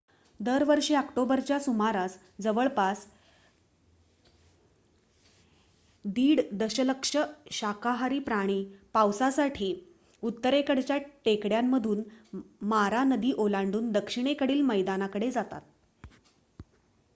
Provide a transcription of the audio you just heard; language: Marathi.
दरवर्षी ऑक्टोबरच्या सुमारास जवळपास 1.5 दशलक्ष शाकाहारी प्राणी पावसासाठी उत्तरेकडच्या टेकड्यांमधून मारा नदी ओलांडून दक्षिणेकडील मैदानाकडे जातात